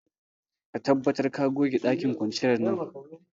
Ka tabbatar ka goge dakin kwanciyar nan.